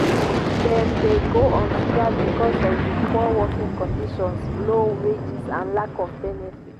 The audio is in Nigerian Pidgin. dem dey go on strike because of di poor working conditions low wages and lack of benefits.